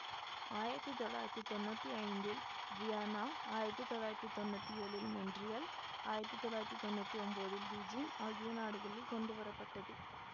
ஆயிரத்தி தொள்ளாயிரத்தி தொன்னூத்தி ஐந்தில் வியன்னா ஆயிரத்தி தொள்ளாயிரத்தி தொன்னூத்தி ஏழில் மொன்றியல் ஆயிரத்தி தொள்ளாயிரத்தி தொன்னூத்தி ஒம்போதில் பீஜிங் ஆகிய நாடுகளில் கொண்டுவர பட்டது